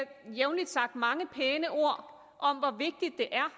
jævnlig sagt mange pæne ord om hvor vigtigt det er